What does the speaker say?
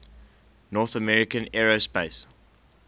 north american aerospace